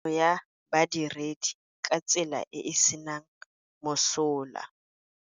Tiriso ya badiredi ka tsela e e senang mosola.